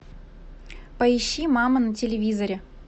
поищи мама на телевизоре